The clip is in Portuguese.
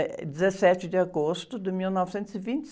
Eh, dezessete de agosto de mil novecentos e vinte e